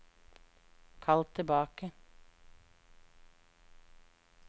kall tilbake